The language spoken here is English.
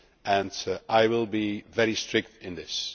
about, and I will be very strict in this.